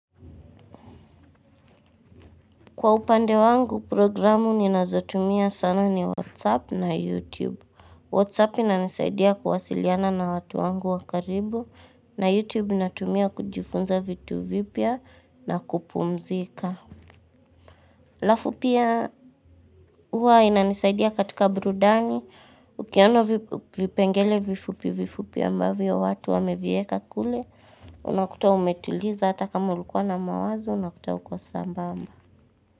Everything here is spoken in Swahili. Kwa upande wangu programu ninazotumia sana ni whatsapp na youtube Whatsapp inanisaidia kuwasiliana na watu wangu wakaribu na youtube natumia kujifunza vitu vipya na kupumzika Lafu pia huwa inanisaidia katika burudani Ukiano vipengele vifupi vifupi ambavyo watu wamevieka kule Unakuta umetuliza hata kama ulikuwa na mawazo unakuta ukowasambamba.